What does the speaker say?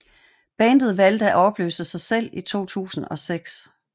Bandet valgte at opløse sig selv i 2006